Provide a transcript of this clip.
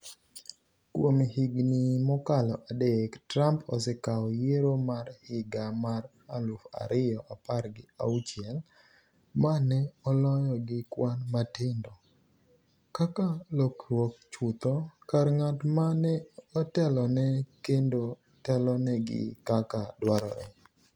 Kuom higni mokalo adek, Trump osekawo yiero mar higa mar aluf ariyo apar gi auchiel - ma ne oloyo gi kwan matindo - kaka lokruok chutho kar ng’at ma ne otelone kendo telonegi kaka dwarore